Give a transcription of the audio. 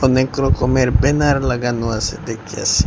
অনেক রকমের ব্যানার লাগানো আসে দেখিয়াসি।